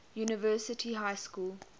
university high school